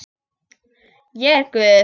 Ég er guð.